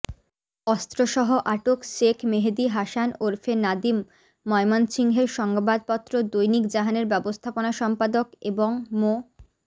অস্ত্রসহ আটক শেখ মেহেদী হাসান ওরফে নাদিম ময়মনসিংহের সংবাদপত্র দৈনিক জাহানের ব্যবস্থাপনা সম্পাদক এবং মো